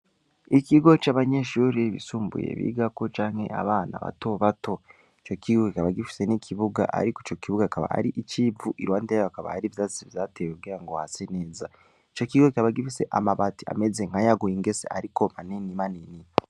Ikigo c'abanyeshuri bisumbuye bigako canke abana batobato, ico kigo kikaba gifise n'ikibuga ariko ico kibuga kikaba ar'ic'ivu, iruhande hakaba hariho ivyatsi vyatewe kugira hase neza, ico kibuga kikaba gifise amabati ameze nk'ayaguye ingese ariko manini manini.